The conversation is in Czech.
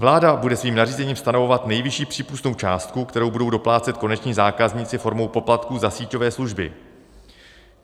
Vláda bude svým nařízením stanovovat nejvyšší přípustnou částku, kterou budou doplácet koneční zákazníci formou poplatků za síťové služby.